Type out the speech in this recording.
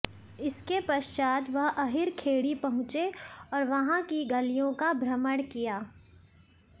इसके पश्चात वह अहिर खेड़ी पहुंचे और वहां की गलियों का भ्रमण किया